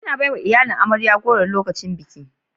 Ana baiwa iyalin amarya goro lokacin biki